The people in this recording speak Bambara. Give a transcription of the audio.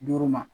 Duuru ma